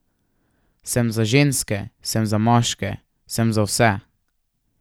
Sem za ženske, sem za moške, sem za vse.